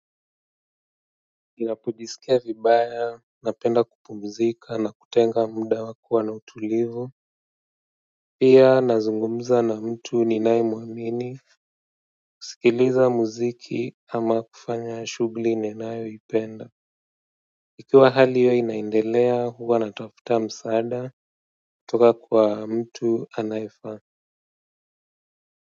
Ninapojisikia vibaya, napenda kupumzika na kutenga muda wa kuwa na utulivu pia nazungumza na mtu ninayemuamini kusikiliza muziki ama kufanya shughuli ninanayo ipenda ikiwa hali hiyo inaendelea huwa natafuta msaada kutoka kwa mtu anayefaa kwa hivyo.